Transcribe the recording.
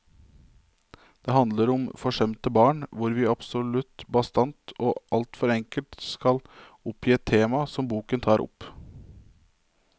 Det handler om forsømte barn, hvis vi absolutt bastant og alt for enkelt skal oppgi et tema som boken tar opp.